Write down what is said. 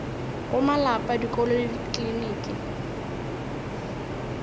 go malapa dikolo le dikliniki